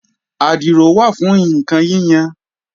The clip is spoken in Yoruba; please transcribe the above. Àdìrò wà fún ǹkan yíyan